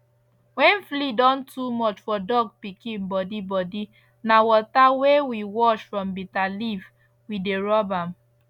wen flea don too much for dog pikin body body na water wey we wash from bitter leaf we dey rub am